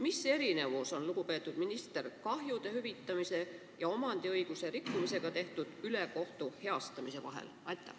Mis erinevus on, lugupeetud minister, kahjude hüvitamise ja omandiõiguse rikkumisega tehtud ülekohtu heastamise vahel?